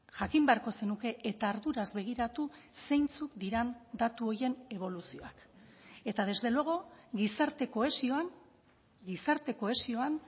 jakin beharko zenuke eta arduraz begiratu zeintzuk diren datu horien eboluzioak eta desde luego gizarte kohesioan gizarte kohesioan